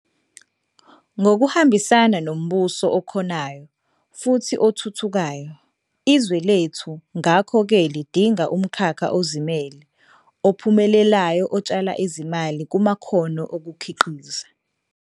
Ngokuhambisana nombuso okhonayo futhi othuthukayo, izwe lethu ngakho-ke lidinga umkhakha ozimele ophumelelayo otshala izimali kumakhono okukhiqiza.